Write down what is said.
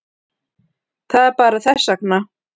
Það er bara þess vegna.